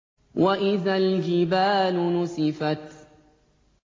وَإِذَا الْجِبَالُ نُسِفَتْ